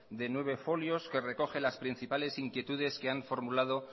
de nueve folios que recoge las principales inquietudes que han formulado